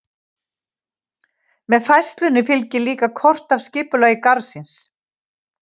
Með færslunni fylgir líka kort af skipulagi garðsins.